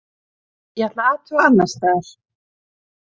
Ég ætla að athuga annars staðar.